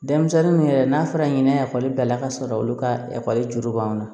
Denmisɛnnin min yɛrɛ n'a fɔra ɲinɛ ekɔli bilala ka sɔrɔ olu ka ekɔli juru b'anw na